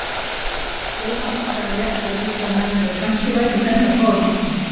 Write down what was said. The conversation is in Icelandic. Jóhann andaði léttar og hugsaði með sér að kannski væri hún enn á báðum áttum.